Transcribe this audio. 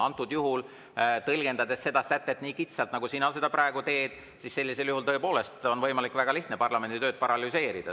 Antud juhul, tõlgendades seda sätet nii kitsalt, nagu sina praegu teed, on tõepoolest võimalik ja väga lihtne parlamendi tööd paralüseerida.